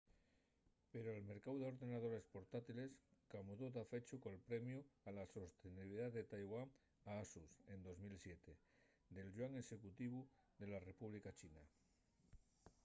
pero'l mercáu d'ordenadores portátiles camudó dafechu col premiu a la sostenibilidá de taiwán a asus en 2007 del yuan executivu de la república china